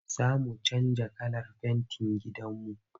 Za mu canja kalar fentin gidanmu.